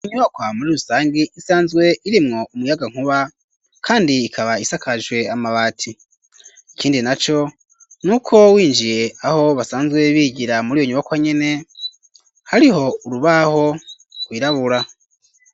Inyubakwa muri rusangi isanzwe iremwo umuyaga nkuba ,kandi ikaba isakajwe amabati ,ikindi na co ,n'uko winjiye aho basanzwe bigira muri yo nyubakwa nyene ,hariho urubaho rwirabura.